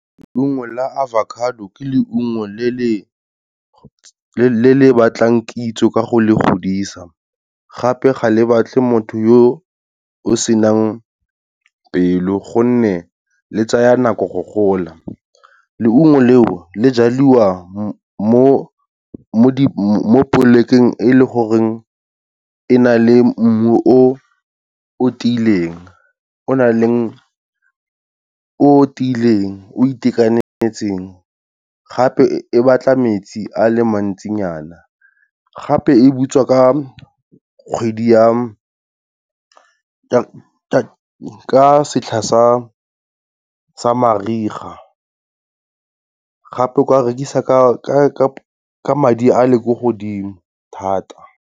Leungo la avocado, ke leungo le le batlang kitso ka go le godisa, gape ga le batle motho yo o senang pelo gonne le tsaya nako go gola. Leungo leo le jaliwa mo polekeng e leng gore e na le mmu o tiileng, o nang le, o tiileng, o itekanetseng gape e batla metsi a leng mantsinyana, gape e butswa ka kgwedi ya, ka setlha sa mariga gape kwa rekisa ka madi a le ko godimo thata.